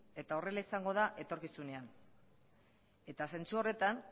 eta horrela izango da etorkizunean eta zentzu horretan